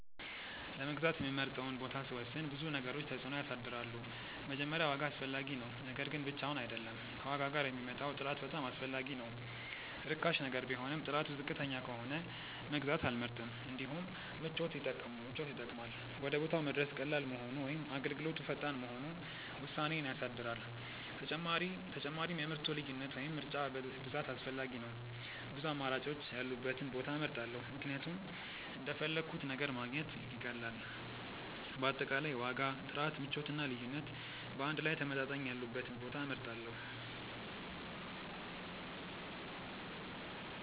ለመግዛት የምመርጠውን ቦታ ሲወስን ብዙ ነገሮች ተጽዕኖ ያሳድራሉ። መጀመሪያ ዋጋ አስፈላጊ ነው፤ ነገር ግን ብቻውን አይደለም፣ ከዋጋ ጋር የሚመጣው ጥራት በጣም አስፈላጊ ነው። ርካሽ ነገር ቢሆንም ጥራቱ ዝቅተኛ ከሆነ መግዛት አልመርጥም። እንዲሁም ምቾት ይጠቅማል፤ ወደ ቦታው መድረስ ቀላል መሆኑ ወይም አገልግሎቱ ፈጣን መሆኑ ውሳኔዬን ያሳድራል። ተጨማሪም የምርቱ ልዩነት ወይም ምርጫ ብዛት አስፈላጊ ነው፤ ብዙ አማራጮች ያሉበትን ቦታ እመርጣለሁ ምክንያቱም እንደፈለግሁት ነገር ማግኘት ይቀላል። በአጠቃላይ ዋጋ፣ ጥራት፣ ምቾት እና ልዩነት በአንድ ላይ ተመጣጣኝ ያሉበትን ቦታ እመርጣለሁ።